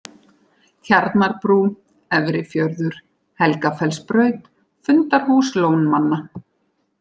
Tjarnarbrú, Efri-Fjörður, Helgafellsbraut, Fundarhús Lónmanna